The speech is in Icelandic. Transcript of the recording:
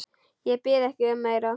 Ég bið ekki um meira.